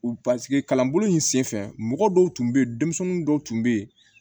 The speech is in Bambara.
U kalanbolo in senfɛ mɔgɔ dɔw tun be yen denmisɛnnin dɔw tun be yen